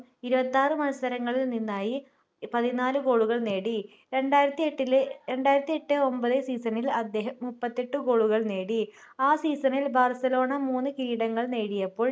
ഇരുപത്തിആർ മത്സരങ്ങളിൽ നിന്നായി പതിനാല് goal കൾ നേടി രണ്ടായിരത്തിഎട്ടിലെ രണ്ടായിരത്തിഎട്ട് ഒമ്പത് season ൽ അദ്ദേഹം മുപ്പത്തിയെട്ട് goal കൾ നേടി ആ season ൽ ബാർസലോണ മൂന്ന് കിരീടങ്ങൾ നേടിയപ്പോൾ